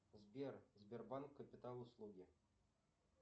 сбер сбербанк капитал услуги